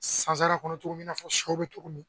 Sansara kɔnɔ cogo min na i n'a fɔ sɛ bɛ cogo min